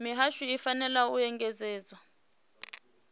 mihasho i fanela u engedzedza